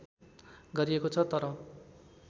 गरिएको छ तर